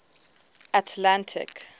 atlantic